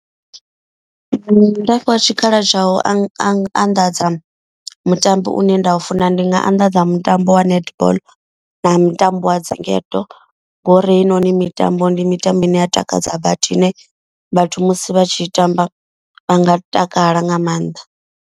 Nda fhiwa tshikhala tsha u anḓadza mutambo une nda u funa ndi nga anḓadza mutambo wa netball na mutambo wa dzingedo. Ngori hei noni mitambo ndi mitambo ine ya takadza badi ine vhathu musi vha tshi i tamba vha nga takala nga maanḓa.